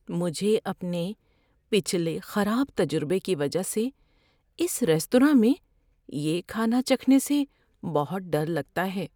مجھے اپنے پچھلے خراب تجربے کی وجہ سے اس ریستوراں میں یہ کھانا چکھنے سے بہت ڈر لگتا ہے۔